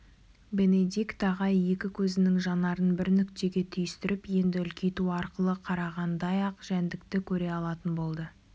бенедикт ағай екі көзінің жанарын бір нүктеге түйістіріп енді үлкейту арқылы қарағандай-ақ жәндікті көре алатын болды